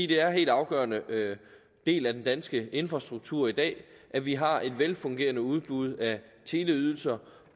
det er en helt afgørende del af den danske infrastruktur i dag at vi har et velfungerende udbud af teleydelser